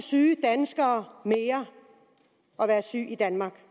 syge danskere mere at være syg i danmark